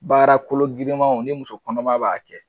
Baara kolo girimanw ni muso kɔnɔman b'a kɛ.